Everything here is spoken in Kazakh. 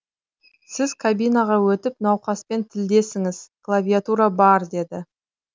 сіз кабинаға өтіп науқаспен тілдесіңіз клавиатура бар деді